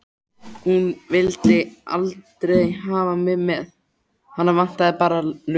Hún vildi aldrei hafa þig með, hana vantaði bara lög.